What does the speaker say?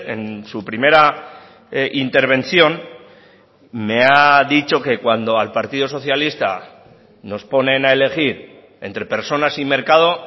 en su primera intervención me ha dicho que cuando al partido socialista nos ponen a elegir entre personas y mercado